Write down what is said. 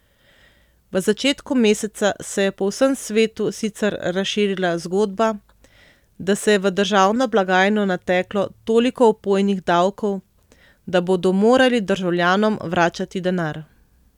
V začetku meseca se je po vsem svetu sicer razširila zgodba, da se je v državno blagajno nateklo toliko opojnih davkov, da bodo morali državljanom vračati denar.